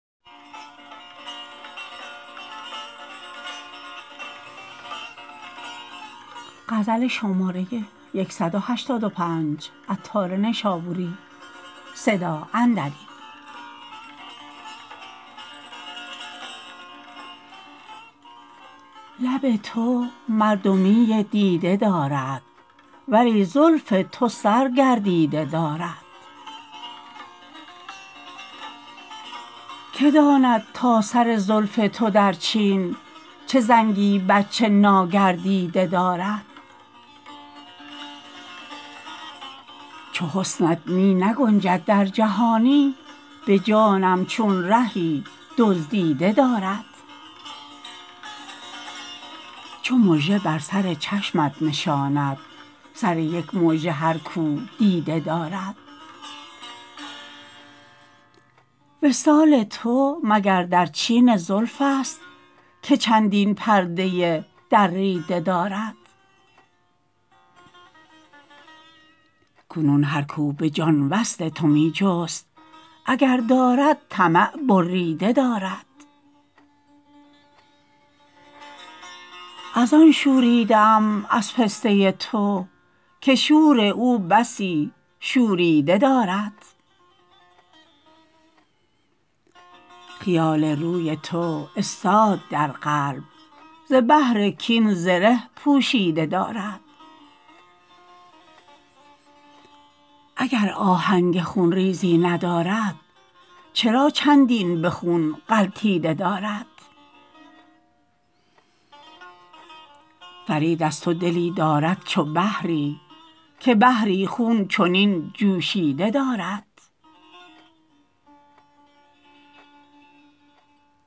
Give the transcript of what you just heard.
لب تو مردمی دیده دارد ولی زلف تو سر گردیده دارد که داند تا سر زلف تو در چین چه زنگی بچه ناگردیده دارد چو حسنت می نگنجد در جهانی به جانم چون رهی دزدیده دارد چو مژه بر سر چشمش نشاند سر یک مژه هر کو دیده دارد وصال تو مگر در چین زلف است که چندین پرده دریده دارد کنون هر کو به جان وصل تو می جست اگر دارد طمع ببریده دارد از آن شوریده ام از پسته تو که شور او بسی شوریده دارد خیال روی تو استاد در قلب ز بهر کین زره پوشیده دارد اگر آهنگ خون ریزی ندارد چرا چندین به خون غلطیده دارد فرید از تو دلی دارد چو بحری که بحری خون چنین جوشیده دارد